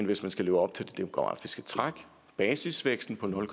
hvis man skal leve op til det demografiske træk basisvæksten på nul